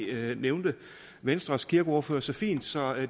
det nævnte venstres kirkeordfører så fint så